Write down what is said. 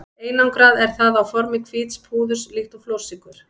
Einangrað er það á formi hvíts púðurs líkt og flórsykur.